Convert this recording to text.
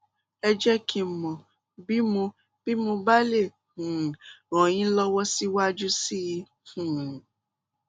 ẹ jẹ kí n mọ bí mo bí mo bá lè um ràn yín lọwọ síwájú sí i um